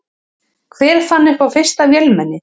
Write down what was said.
Hver fann upp fyrsta vélmennið?